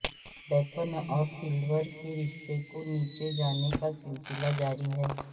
ڈیکون اور سلور کے رشتے کو نیچے جانے کا سلسلہ جاری ہے